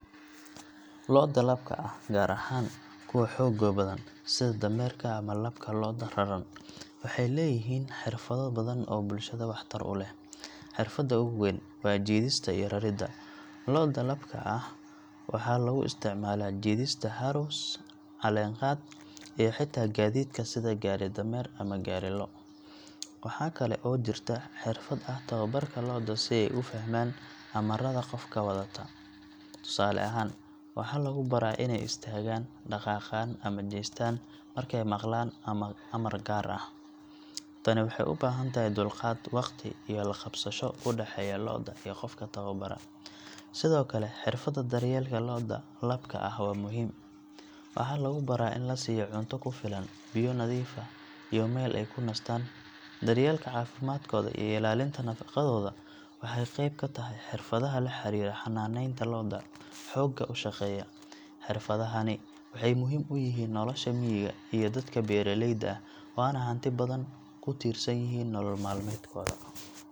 Lo’da labka ah, gaar ahaan kuwa xoogga badan sida dameerka ama labka lo’da raran, waxay leeyihiin xirfado badan oo bulshada waxtar u leh. Xirfadda ugu weyn waa jiidista iyo raridda lo’da labka ah waxaa lagu isticmaalaa jiidista harrows, caleen-qaad, iyo xitaa gaadiidka sida gaari-dameer ama gaari-lo’. Waxaa kale oo jirta xirfad ah tababarka lo’da si ay u fahmaan amarrada qofka wadata. Tusaale ahaan, waxaa lagu baraa inay istaagaan, dhaqaaqaan, ama jeestaan markay maqlaan amar gaar ah. Tani waxay u baahan tahay dulqaad, waqti, iyo la-qabsasho u dhexeeya lo’da iyo qofka tababara. Sidoo kale, xirfadda daryeelka lo’da labka ah waa muhiim. Waxaa lagu baraa in la siiyo cunto ku filan, biyo nadiif ah, iyo meel ay ku nastaan. Daryeelka caafimaadkooda iyo ilaalinta nadaafaddooda waxay qayb ka tahay xirfadaha la xiriira xannaaneynta lo’da xoogga u shaqeeya. Xirfadahani waxay muhiim u yihiin nolosha miyiga iyo dadka beeraleyda ah, waana hanti dad badan ku tiirsan yihiin nolol maalmeedkooda.